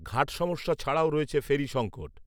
ঘাট সমস্যা ছাড়াও রয়েছে ফেরি সংঙ্কট